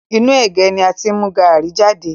Inú ẹ̀gé ni a ti mú gaàrí jade